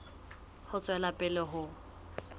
ho tswela pele ho ya